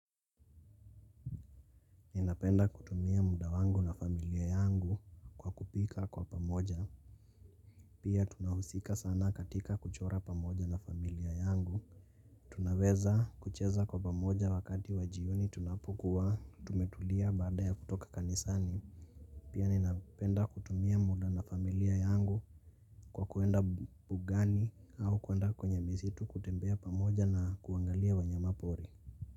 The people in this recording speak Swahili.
Ninapenda kutumia muda wangu na familia yangu kwa kupika kwa pamoja. Pia tunahusika sana katika kuchora pamoja na familia yangu. Tunaweza kucheza kwa pamoja wakati wa jioni tunapukuwa tumetulia baada ya kutoka kanisani. Pia ninapenda kutumia muda na familia yangu kwa kuenda bugani au kuanda kwenye misitu kutembea pamoja na kuangalia wanyama pori.